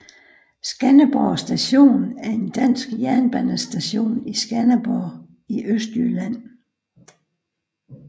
Skanderborg Station er en dansk jernbanestation i Skanderborg i Østjylland